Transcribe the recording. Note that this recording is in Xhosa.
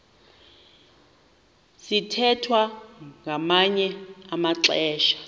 sithwethwa ngamanye amaxesha